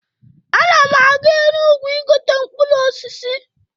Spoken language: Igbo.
Ana m aga Enugwu igote mkpụrụ osisi.